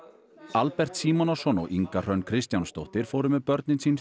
Albert Símonarson og Inga Hrönn Kristjánsdóttir fóru með börnin sín